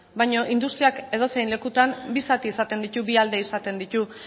baino industriak edozein lekutan bi zati esaten ditu bi alde izaten ditu